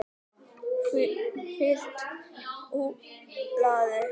Fylgt úr hlaði